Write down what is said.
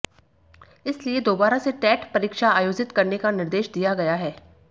इसलिए दोबारा से टेट परीक्षा आयोजित करने का निर्देश दिया गया है